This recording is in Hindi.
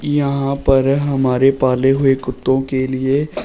यहां पर हमारे पाले हुए कुत्तों के लिए--